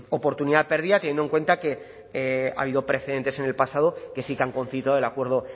oportunidad perdida teniendo en cuenta que ha habido precedentes en el pasado que sí que han concitado el acuerdo